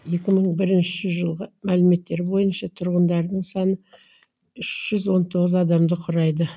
екі мың бірінші жылғы мәліметтер бойынша тұрғындарының саны үш жүз он тоғыз адамды құрайды